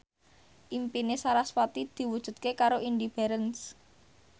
impine sarasvati diwujudke karo Indy Barens